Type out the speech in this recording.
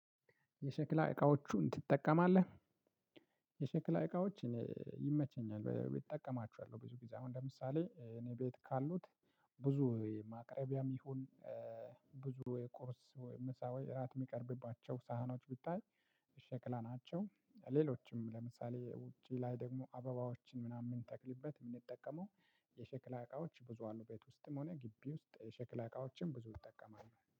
የሸክላ እቃዎቹን ትጠቀማለህ? የሸክላ እቃዎች ይመቸኛል እጠቀማቸዋለሁ ብዙ ጊዜ አሁን ለምሳሌ እኔ ቤት ካሉት ብዙ ማቅረቢያም ይሁን ብዙ የቁርስ ወይ ምሳ ወይ እራት የሚቀርብባቸው ሳህኖች ብታይ ሸክላ ናቸው። ሌሎችም ለምሳሌ ውጪ ላይ ደግሞ አበባዎችን ምናምን ምንተክልበት የምንጠቀመው የሸክላ እቃዎች ብዙ አሉ። ቤት ውስጥም ሆነ ግቢ ውስጥ ሸክላ እቃዎችን ብዙ ይጠቀማሉ